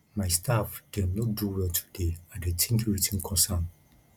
my staff dem no do well today i dey tink wetin cause am